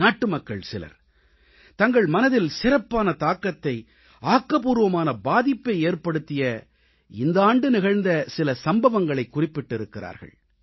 நாட்டுமக்கள் சிலர் தங்கள் மனதில் சிறப்பான தாக்கத்தை ஆக்கப்பூர்வமான பாதிப்பை ஏற்படுத்திய இந்த ஆண்டு நிகழ்ந்த சில சம்பவங்களைக் குறிப்பிட்டிருக்கிறார்கள்